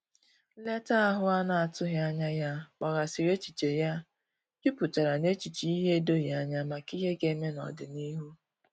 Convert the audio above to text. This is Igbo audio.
Nleta ahu ana atughi anya ya gbaghasiri echiche ya juputara na echiche ihe edoghi anya maka ihe ga-eme n'odịnihu